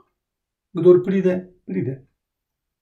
Kdor pride, pride.